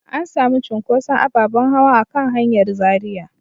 An sami cunkuson ababen hawa a kan hanyar Zaria.